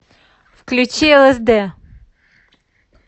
включи элэсдэ